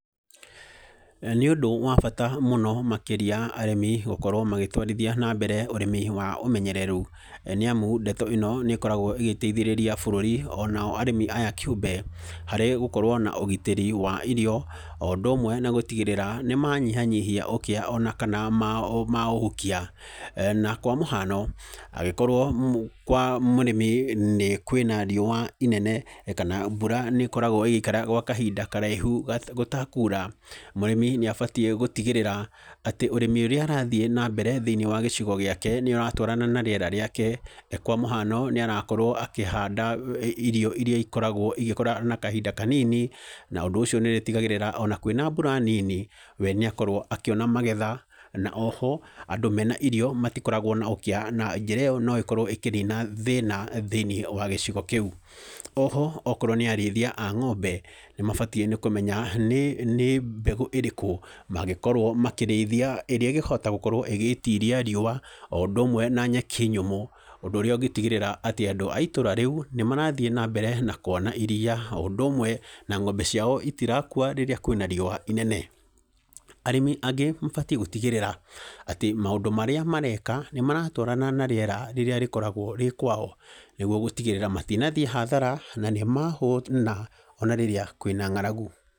Nĩ ũndũ wa bata mũno makĩria arĩmi gũkorwo magĩtwarithia na mbere ũrĩmi wa ũmenyereru, nĩamu ndeto ĩno nĩ ĩkoragwo ĩgĩteithĩrĩria bũrũri ona o arĩmi aya kĩũmbe harĩ gũkorwo na ũgitĩri wa irio, o ũndũ ũmwe na gũtigĩrĩra nĩ manyihanyihia ũkĩa, ona kana ma maũhukia, na kwamũhano, angĩkorwo kwa mũrĩmi nĩ kwĩna riũwa inene, kana mbura nĩ ĩkokragwo ĩgĩikara gwa kahinda karaihu ga gũtekura, mũrĩmi nĩ abatiĩ gũtigĩrĩra atĩ ũrĩmi ũrĩa arathiĩ na mbere thĩinĩ wa gĩcigo gĩake, nĩ ũratwarana na rĩera rĩake, kwa mũhano, nĩ arakorwo akĩhanda irio iria ikoragwo ĩgĩkũra na kahinda kanini, na ũndũ ũcio nĩ ũrĩtigagĩrĩra ona kwĩna mbura nini, we nĩakorwo akĩona magetha, na oho, andũ mena irio matikoragwo na ũkĩa, na njĩra ĩyo no ĩkorwo ĩkĩnina thĩna thĩinĩ wa gĩcigo kĩu, oho akorwo nĩ arĩithia a ng'ombe nĩ mabatiĩ nĩ kũmenya nĩ mbegũ ĩrĩkũ mangĩkorwo makĩrĩithia ĩrĩa ĩngĩhota gũkorwo ĩgĩtiria rĩũwa, o ũndũ ũmwe na nyeki nyũmũ, ũndũ ũrĩa ũngĩtigĩrĩra atĩ andũ a itũra rĩu, nĩ marathiĩ na mbere na kuona iria o ũndũ ũmwe na ng'ombe ciao itirakua rĩrĩa kwĩna riũwa inene, arĩmi angĩ mabatiĩ gũtigĩrĩra atĩ maũndũ marĩa mareka nĩ maratwarana na rĩera rĩrĩa rĩkoragwo rĩkwao, nĩguo gũtigĩrĩra matinathiĩ hathara na nĩ mahũna ona rĩrĩa kwĩna ngaragu.